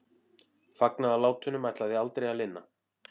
Fagnaðarlátunum ætlaði aldrei að linna.